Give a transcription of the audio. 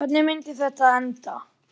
Hvernig myndi þetta enda?